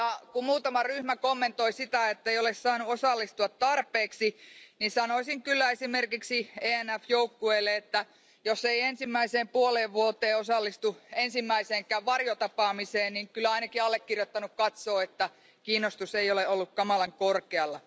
Kun muutama ryhmä kommentoi sitä, ettei ole saanut osallistua tarpeeksi, niin sanoisin kyllä esimerkiksi ENF joukkueelle, että jos ei ensimmäiseen puoleen vuoteen osallistu ensimmäiseenkään varjotapaamiseen, niin kyllä ainakin allekirjoittanut katsoo, että kiinnostus ei ole ollut kamalan korkealla.